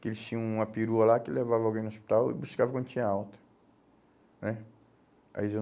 Que eles tinham uma perua lá que levava alguém no hospital e buscava quando tinha alta né, aí já